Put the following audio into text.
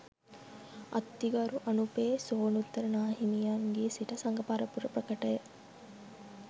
අතිගරු අනුපේ සෝනුත්තර නාහිමියන්ගේ සිට සඟ පරපුර ප්‍රකටය.